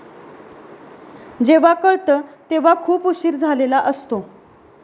जेव्हा कळतं तेव्हा खूप उशीर झालेला असतो.